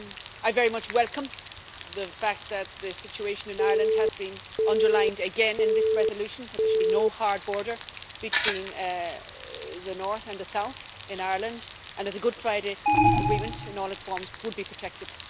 I very much welcome the fact that the situation in Ireland has been underlined again in this resolution that there should be no hard border between the north and the south in Ireland, and that the Good Friday Agreement in all its forms would be protected.